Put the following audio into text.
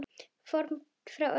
Formin fremur ófögur.